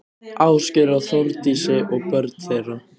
Ásgeir og Þórdísi og börn þeirra.